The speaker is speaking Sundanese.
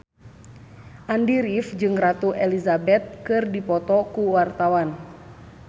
Andy rif jeung Ratu Elizabeth keur dipoto ku wartawan